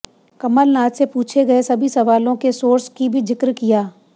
कमलनाथ से पूछे गए सभी सवालों के सोर्स की भी जिक्र किया